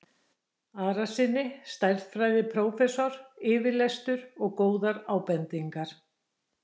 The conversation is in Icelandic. Arasyni stærðfræðiprófessor yfirlestur og góðar ábendingar.